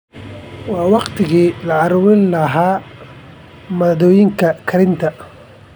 Waa waqtigii la ururin lahaa maaddooyinka karinta.